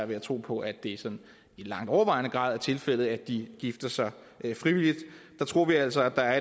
ved at tro på at det sådan i langt overvejende grad er tilfældet er sådan at de gifter sig frivilligt der tror vi altså at der er